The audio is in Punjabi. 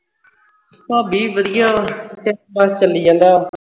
ਭਾਬੀ ਵੱਡੀਆਂ ਸਭ ਚੱਲੀ ਜਾਂਦਾ